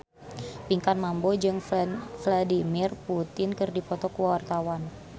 Pinkan Mambo jeung Vladimir Putin keur dipoto ku wartawan